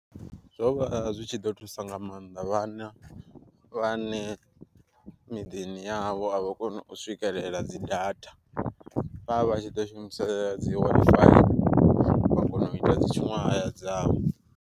Zwo vha zwi tshi ḓo thusa nga maanḓa vhana vhane miḓini ya havho avha koni u swikelela dzi data, vhavha tshi ḓo shumisa dzi WiFi wa kona uita dzi tshuṅwahaya dzavho.